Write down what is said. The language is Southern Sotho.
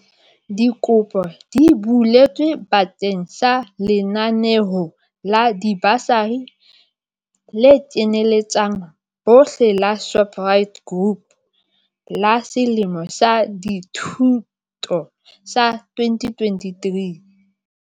Dikopo di buletswe ba keng sa lenaneo la dibasari le kenyeletsang bohle la Shoprite Group la selemo sa dithuto sa 2023.